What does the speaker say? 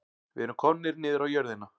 Við erum komnir niður á jörðina